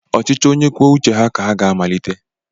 Ọchịchị onye kwuo uche ha ka ha ga-amalite